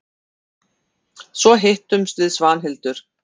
Svo hittumst við Svanhildur.